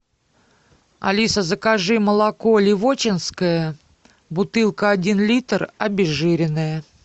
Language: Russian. алиса закажи молоко ливоченское бутылка один литр обезжиренное